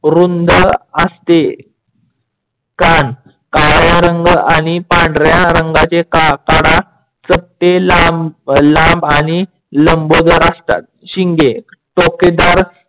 रुंद असते. काण काड्या रंग आणि पांढऱ्या रंगाचे काडा चपटे लांब आणि लंबोदर असतात. शिंगे टोकेदार